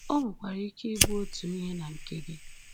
O nwekwara ike i bụ otu ihe na nke gi.